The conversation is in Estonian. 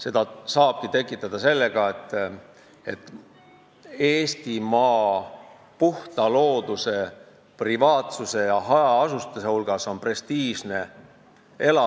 Seda saabki tekitada selle mõtte abil, et puhta loodusega, privaatsust pakkuval ja hajaasustusega Eestimaal on prestiižne elada.